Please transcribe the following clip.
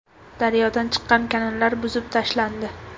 Daryodan chiqqan kanallar buzib tashlandi.